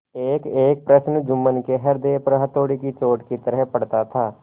एकएक प्रश्न जुम्मन के हृदय पर हथौड़े की चोट की तरह पड़ता था